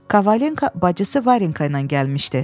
Kovalenko bacısı Varenka ilə gəlmişdi.